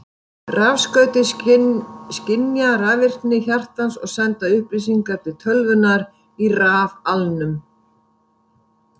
Rafskautin skynja rafvirkni hjartans og senda upplýsingar til tölvunnar í rafalnum.